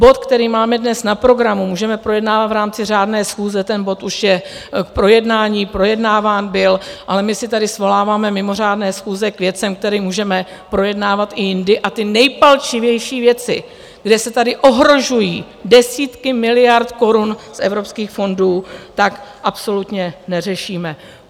Bod, který máme dnes na programu, můžeme projednávat v rámci řádné schůze, ten bod už je k projednání, projednáván byl, ale my si tady svoláváme mimořádné schůze k věcem, které můžeme projednávat i jindy, a ty nejpalčivější věci, kdy se tady ohrožují desítky miliard korun z evropských fondů, tak absolutně neřešíme.